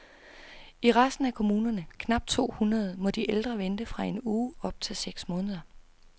I resten af kommunerne, knap to hundrede, må de ældre vente fra en uge op til seks måneder.